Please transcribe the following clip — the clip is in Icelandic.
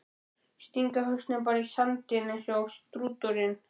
Stinga hausnum bara í sandinn eins og strúturinn!